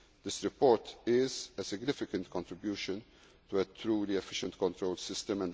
very important issue. This report is a significant contribution to a truly efficient